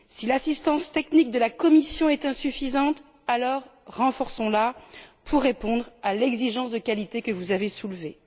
Si l'assistance technique de la Commission est insuffisante, alors renforçons la pour répondre à l'exigence de qualité que vous avez soulevée.